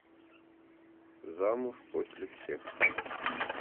замуж после всех